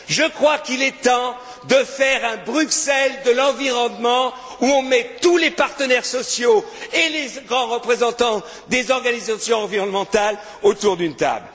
Je crois qu'il est temps de faire un Bruxelles de l'environnement où on mette tous les partenaires sociaux et les grands représentants des organisations environnementales autour d'une table.